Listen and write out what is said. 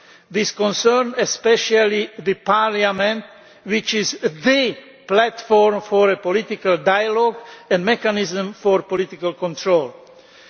This concerns especially the parliament, which is the platform for a political dialogue and mechanism for political oversight.